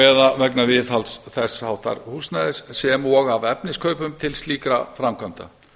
eða vegna viðhalds þess háttar húsnæðis sem og af efniskaupum til slíkra framkvæmda